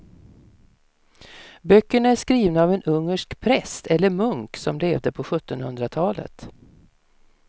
Böckerna är skrivna av en ungersk präst eller munk som levde på sjuttonhundratalet.